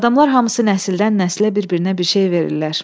Adamlar hamısı nəsildən-nəslə bir-birinə bir şey verirlər.